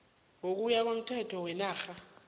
ngokuya komthetho wenarha